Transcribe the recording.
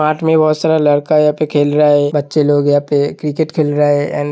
Park में बोहोत सारा लड़का यहाँ पे खेल रहा है। बच्चे लोग यहां पे क्रिकेट खेल रहा एण्ड --